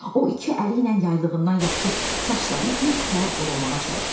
O iki əliylə yaylığından yapışıb saçlarını bir təhər qorumağa çalışırdı.